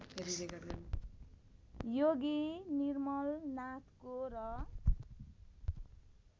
योगी निर्मलनाथको र